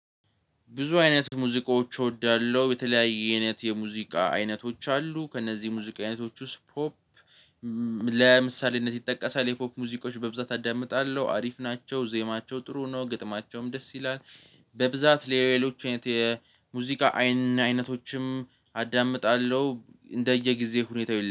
ብዙ አይነት ሙዚቃዎች እወዳለሁ የተለያየ አይነት የሙዚቃ አይነቶች አሉ። ከእነዚህ የሙዚቃ አይነቶች ውስጥ ፖፕ ለምሳሌነት ይጠቀሳል የፖፕ ሙዚቃች በብዛት አዳምጣለሁ። አሪፍ ናቸው ዜማቸው ጥሩ ነው ግጥማቸውም ደስ ይላል። በብዛት ሌሎች የሙዚቃ አይን አይነቶችም አዳምጣለሁ እንደየጊዜው ሁኔታ።